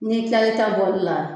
Ni tilal'i ta bɔli la